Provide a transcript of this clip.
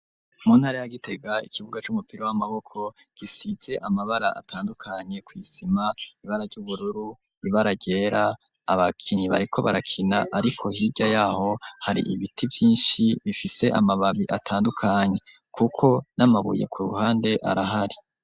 Muntari ya gitega ikibuga c'umupira w'amaboko gisize amabara atandukanye kw'isima ibara ry'ubururu ibararyera abakinyi bariko barakina, ariko hirya yaho hari ibiti vyinshi bifise amababi atandukanye, kuko n'amabuye ku ruhande arahari.